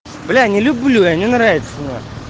бля не люблю я не нравится на хуй